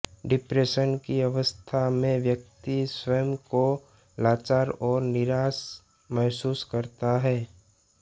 depression की अवस्था में व्यक्ति स्वयं को लाचार और निराश महसूस करता है